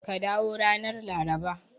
Ka dawo ranar Laraba.